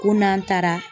Ko n'an taara